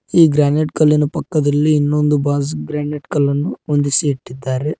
ಈ ಗ್ರಾನೈಟ್ ಕಲ್ಲಿನ ಪಕ್ಕದಲ್ಲಿ ಇನ್ನೊಂದು ಬಾಜ್ ಬ್ರಾಂಡೆಡ್ ಕಲ್ಲನ್ನು ಹೊಂದಿಸಿ ಇಟ್ಟಿದ್ದಾರೆ.